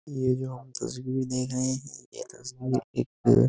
ये जो आप तस्वीर देख रहे हैं ये तस्वीर एक --